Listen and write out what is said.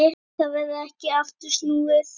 Þá verður ekki aftur snúið.